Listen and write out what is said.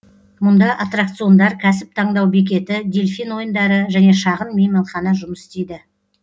мұнда аттракциондар кәсіп таңдау бекеті дельфин ойындары және шағын мейманхана жұмыс істейді